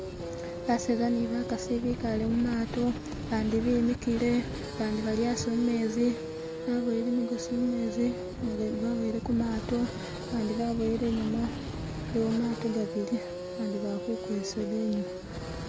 Baseza ni bakasi bikaale mu mato bandi bimikile bandi bali asi mumezi baboyele gimigosi mumezi nijindi baboyele ku mato. Bandi baboyele inyuma. Iliwo gamato gabili bandi bali kukwesela inyuma